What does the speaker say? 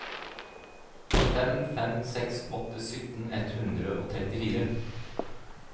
fem fem seks åtte sytten ett hundre og trettifire